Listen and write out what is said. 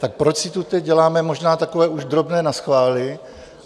Tak proč si tu teď děláme možná takové už drobné naschvály?